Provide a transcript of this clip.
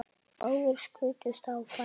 Báðir skutust á fætur.